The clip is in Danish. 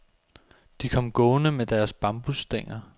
De kom gående med deres bambusstænger.